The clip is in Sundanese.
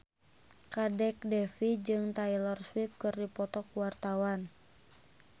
Kadek Devi jeung Taylor Swift keur dipoto ku wartawan